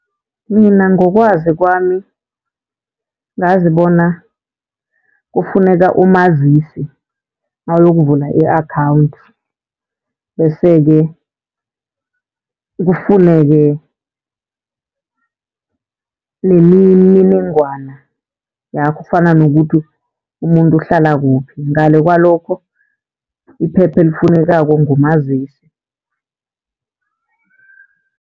Mina ngokwazi kwami, ngazi bona kufuneka umazisi nawuyokuvula i-akhawunthi. Bese-ke kufuneke nemininingwana yakho fana nokuthi umuntu uhlala kuphi, ngale kwalokho iphepha elifunekako ngumazisi.